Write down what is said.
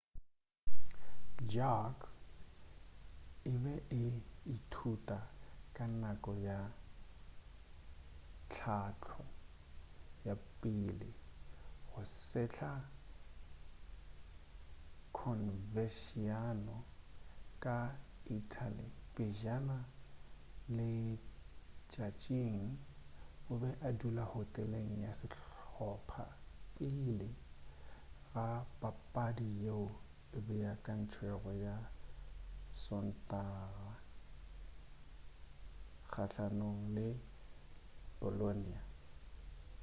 jarque e be e ithuta ka nako ya tlhahlo ya pele ga sehla converciano ka italy pejana letšatšing o be a dula hoteleng ya sehlopha pele ga papadi yeo e beakantšwego ya sontaga kgahlanong le bolonia